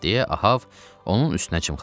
- deyə Ahab onun üstünə cımxırdı.